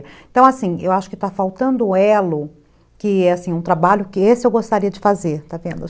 Então, assim, eu acho que está faltando o elo, que é um trabalho que esse eu gostaria de fazer, está vendo?